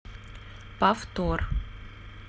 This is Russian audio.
повтор